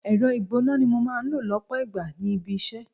Ẹ̀rọ ìgbóná ni mo máa ń lò lọpọ ìgbà ní ibi-isẹ.